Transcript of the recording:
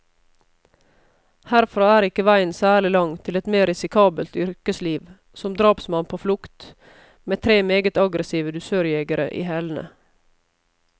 Herfra er ikke veien særlig lang til et mer risikabelt yrkesliv, som drapsmann på flukt, med tre meget aggressive dusørjegere i hælene.